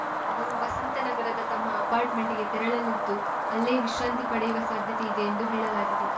ಅವರು ವಸಂತನಗರದ ತಮ್ಮ ಅಪಾರ್ಟ್‌ಮೆಂಟ್‌ಗೆ ತೆರಳಲಿದ್ದು ಅಲ್ಲೇ ವಿಶ್ರಾಂತಿ ಪಡೆಯುವ ಸಾಧ್ಯತೆ ಇದೆ ಎಂದು ಹೇಳಲಾಗಿದೆ